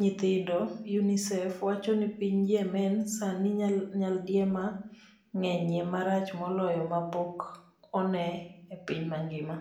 nyithindo - UNICEF, wacho ni piny Yemen sani nyaldiema ngenyie marach moloyo ma pok one e piny mangima.